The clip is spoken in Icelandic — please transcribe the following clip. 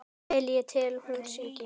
Vel ég tel hún syngi.